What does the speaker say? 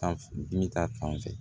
Fan dimi ta fan fɛ